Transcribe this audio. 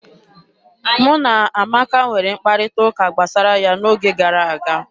Mụ na Amaka nwere mkparịta ụka gbasara ya n'oge gara aga.